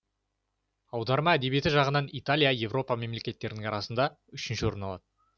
аударма әдебиеті жағынан италия еуропа мемлекеттері арасында үшінші орын алады